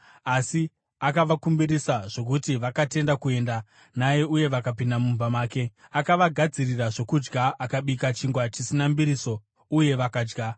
Asi akavakumbirisa zvokuti vakatenda kuenda naye uye vakapinda mumba make. Akavagadzirira zvokudya, akabika chingwa chisina mbiriso, uye vakadya.